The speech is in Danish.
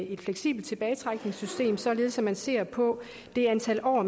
et fleksibelt tilbagetrækningssystem således at man ser på det antal år